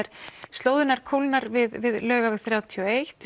slóðin kólnar við Laugaveg þrjátíu og eitt